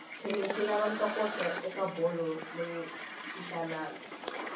tennis yilava ntokoto ekabholo leyinsanani